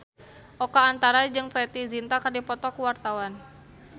Oka Antara jeung Preity Zinta keur dipoto ku wartawan